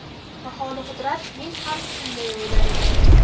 Baholi-qudrat men ham shunday o‘ylar edim.